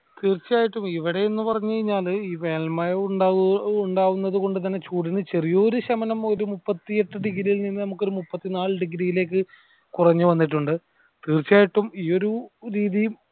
തീർച്ചയായിട്ടും ഇവിടെ എന്ന് പറഞ്ഞു കൈഞ്ഞാല് ഈ വേനൽ മഴ ഇണ്ടാവു ഇണ്ടാവുന്നത് കൊണ്ട് കൂടിനു ചെറിയൊരു ശമനം ഒരു മുപ്പത്തിയെട്ട് degree യിൽ നിന്ന് നമ്മക്കൊരു ഒരു മുപ്പത്തിനാല് degree യിലേക്ക് കുറഞ്ഞു വന്നിട്ടുണ്ട് തീർച്ചയായിട്ടും ഈ ഒരു രീതിയിൽ